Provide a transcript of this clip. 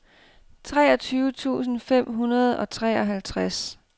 treogtyve tusind fem hundrede og treoghalvtreds